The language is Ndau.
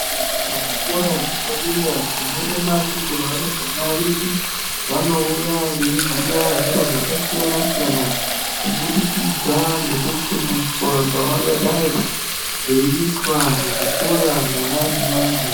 Kuzvikora zvepadera tinoona kuti varumbwana vedu vanouya veiziya zviro zvakasiyana siyana kubudikidza nekufundiswa kwavangadai vei itwa muzvikora mwona umomo.